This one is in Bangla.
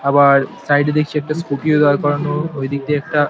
আবার সাইড -এ দেখছি একটা স্কুটি -ও দাঁড় করানো ওইদিক দিয়ে একটা --